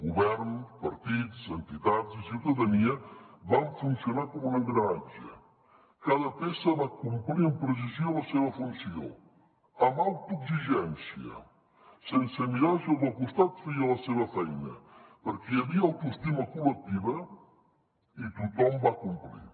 govern partits entitats i ciutadania van funcionar com un engranatge cada peça va complir amb precisió la seva funció amb autoexigència sense mirar si el del costat feia la seva feina perquè hi havia autoestima col·lectiva i tothom va complir